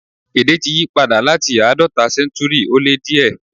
Èdè ti yípadà láti àádọ́ta séntúrì ó lé díẹ̀.